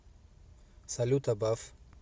салют абаф